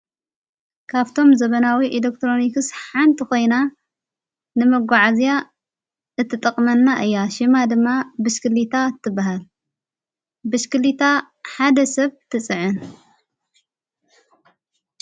ካብቶም ዘበናዊ ኤሌክትሮኒክስ ሓንቲ ኾይና ንመጕዓ እዚያ እትጠቕመና እያ ሽማ ድማ ብሽክሊታ እትበሃል ብሽክሊታ ሓደ ሰብ ትጽዕን።